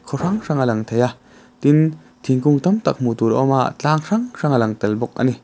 khaw hrang hrang a lang thei a tin thingkung tam tak hmuh tur awma tlâng hrang hrang a lang tel bawk ani.